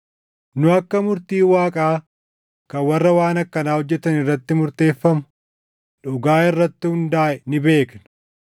Nu akka murtiin Waaqaa kan warra waan akkanaa hojjetan irratti murteeffamu dhugaa irratti hundaaʼe ni beekna.